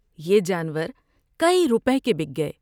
یہ جانور کئی روپے کے بک گئے ۔